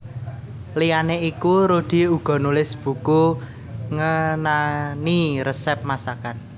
Liyané iku Rudy uga nulis buku ngenani resèp masakan